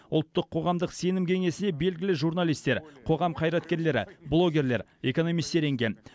ұлттық қоғамдық сенім кеңесіне белгілі журналистер қоғам қайраткерлері блогерлер экономистер енген